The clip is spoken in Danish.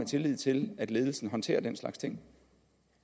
tillid til at ledelsen håndterer den slags ting